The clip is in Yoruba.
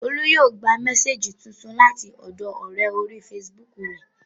Olú yóò gba mésèjì tuntun láti ọ̀dọọ ọ̀rẹ́ orí fesibúùkù rẹ̀